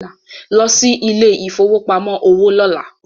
Lọ sí ilẹ̀ ìfowópamọ́ òwò lọ́lá